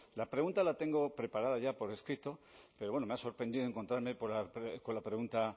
la pregunta la tengo preparada ya por escrito pero bueno me ha sorprendido encontrarme con la pregunta